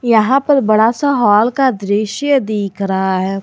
यहां पर बड़ा सा हॉल का दृश्य दिख रहा है।